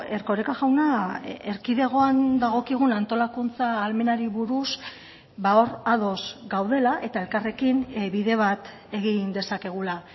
erkoreka jauna erkidegoan dagokigun antolakuntza ahalmenari buruz hor ados gaudela eta elkarrekin bide bat egin dezakegula